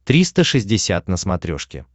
триста шестьдесят на смотрешке